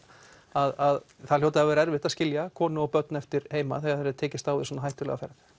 að það hljóti að hafa verið erfitt að skilja konu og börn eftir heima þegar það er tekist á við svona hættulega ferð